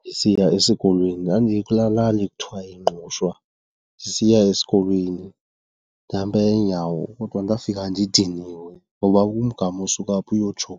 Ndisiya esikolweni, ndandikulaa lali kuthiwa yiNgqushwa, sisiya esikolweni ndihamba ngeenyawo. Kodwa ndafika ndidiniwe ngoba ngumgama osuka apha uyotsho